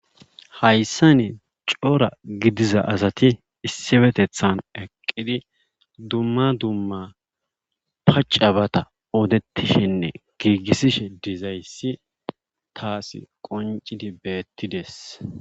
Haysssani cora gidiza asati issifetethan eqqidi dumma dumma pacca bata odettishenne giigisishe dizayssi taasi qonccidi bettides.